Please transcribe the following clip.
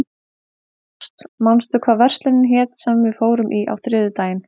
Ást, manstu hvað verslunin hét sem við fórum í á þriðjudaginn?